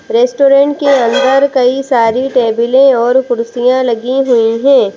Restaurant के अंदर कई सारी टेबलें और कुर्सियाँ लगी हुई हैं।